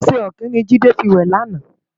Oṣè òkin ni Jide fi wè làná